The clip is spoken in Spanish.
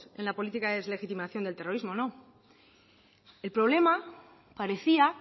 en la política de deslegitimización del terrorismo no el problema parecía